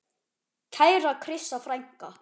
Kæra Krissa frænka.